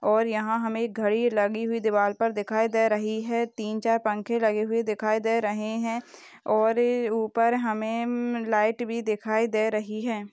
और यहा हमे घड़ी लगी हुई दिवार पर दिखाई दे रही है तीन चार पंखे लगे हुए दिखाई दे रहे है और ऊपर हमे लाइट भी दिखाई दे रही है।